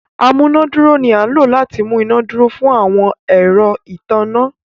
amunaduro ni a lò láti mú iná dúró fun àwọn ẹrọ ìtanná.